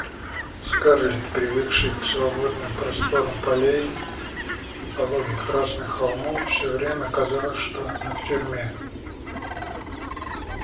скарлетт привыкшей к свободным просторам полей и пологих красных холмов всё время казалось что она в тюрьме